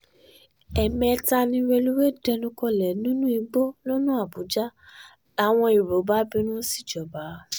ẹ̀ẹ̀mẹ́ta ni rélùwéè dẹnu kọlẹ̀ nínú igbó lọ́nà àbújá làwọn èrò bá bínú síjọba